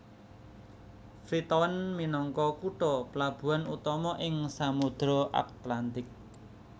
Freetown minangka kutha plabuhan utama ing Samudra Atlantik